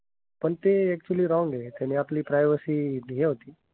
पण ते actually wrong आहे. त्याने आपली privacy हे होते.